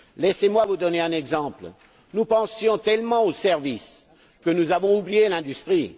Laissez moi vous donner un exemple nous pensions tellement aux services que nous avons oublié l'industrie.